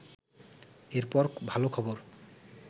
এরপর ভাল খবর